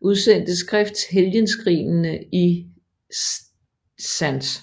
udsendte skrift Helgenskrinene i St